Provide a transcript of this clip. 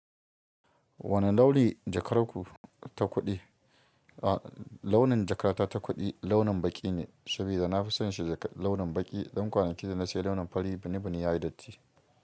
Wane launi jakar ku ta kuɗi? A launin jakata ta kuɗi launin baƙi ne, saboda na fi son shi launin baƙi don kwanaki da na sayi launin fari bini bini ya yi datti.